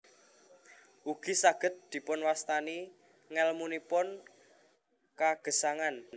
Ugi saged dipunwastani ngèlmunipun kagesangan